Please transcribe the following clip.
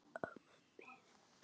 Amma mín er dáin.